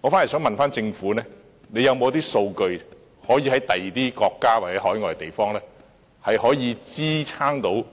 我反而想問，政府有沒有其他國家或海外地方的數據可以支持政府